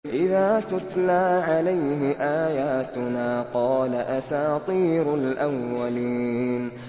إِذَا تُتْلَىٰ عَلَيْهِ آيَاتُنَا قَالَ أَسَاطِيرُ الْأَوَّلِينَ